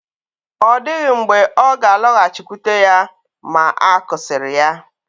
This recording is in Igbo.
Ọ dịghị mgbe ọ ga-alọghachikwute ya ma a kụsịrị ya